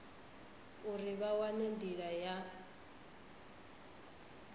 uri vha wane ndila ya